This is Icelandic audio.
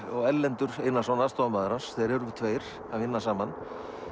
og Erlendur Einarsson aðstoðarmaður hans þeir eru tveir að vinna saman